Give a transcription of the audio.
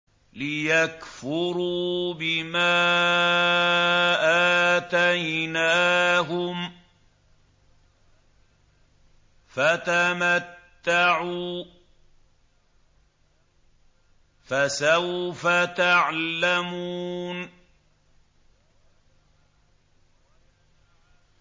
لِيَكْفُرُوا بِمَا آتَيْنَاهُمْ ۚ فَتَمَتَّعُوا ۖ فَسَوْفَ تَعْلَمُونَ